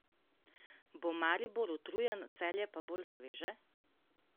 Bo Maribor utrujen, Celje pa bolj sveže?